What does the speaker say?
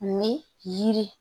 Ni yiri